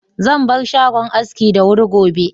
Zan bar shagon aski da wuri gobe.